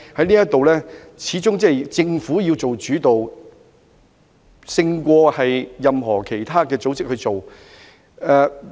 這方面，政府始終要做主導，勝過由其他民間組織處理。